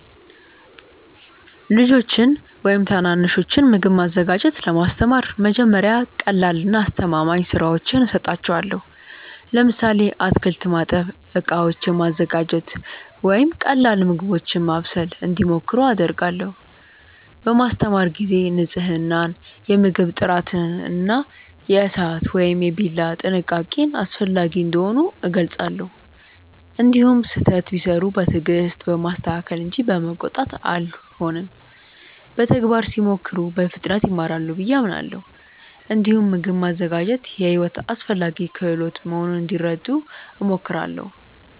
ልጆችን ወይም ታናናሾችን ምግብ ማዘጋጀት ለማስተማር መጀመሪያ ቀላልና አስተማማኝ ሥራዎችን እሰጣቸዋለሁ። ለምሳሌ አትክልት ማጠብ፣ ዕቃዎችን ማዘጋጀት ወይም ቀላል ምግቦችን ማብሰል እንዲሞክሩ አደርጋለሁ። በማስተማር ጊዜ ንፅህናን፣ የምግብ ጥራትን እና የእሳት ወይም የቢላ ጥንቃቄን አስፈላጊ እንደሆኑ እገልጻለሁ። እንዲሁም ስህተት ቢሠሩ በትዕግስት በማስተካከል እንጂ በመቆጣት አልሆንም። በተግባር ሲሞክሩ በፍጥነት ይማራሉ ብዬ አምናለሁ። እንዲሁም ምግብ ማዘጋጀት የሕይወት አስፈላጊ ክህሎት መሆኑን እንዲረዱ እሞክራለሁ።